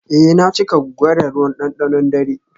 eh na cika guga da ruwan dandanon dare.